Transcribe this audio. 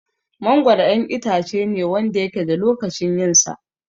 Mangoro 'yan itacene Wanda yake da lokacin yinsa